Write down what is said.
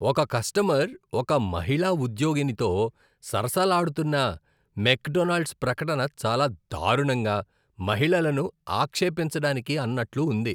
ఒక కస్టమర్ ఒక మహిళా ఉద్యోగినితో సరసాలాడుతున్న మెక్డొనాల్డ్స్ ప్రకటన చాలా దారుణంగా, మహిళలను ఆక్షేపించడానికి అన్నట్లు ఉంది.